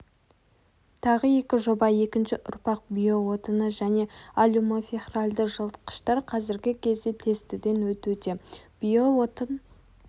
тағы екі жоба екінші ұрпақ био отыны және алюмофехральді жылытқыштар қазіргі кезде тестіден өтуде био отын